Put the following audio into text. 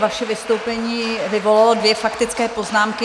Vaše vstoupení vyvolalo dvě faktické poznámky.